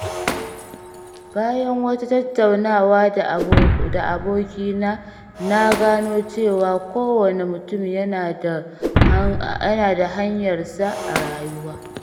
Bayan wata tattaunawa da abokina, na gano cewa kowane mutum yana da hanyarsa a rayuwa.